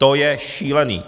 To je šílený!